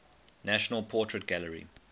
national portrait gallery